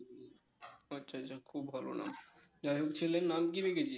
ও আচ্ছা আচ্ছা খুব ভালো নাম যাই হোক ছেলের নাম কি রেখেছিস?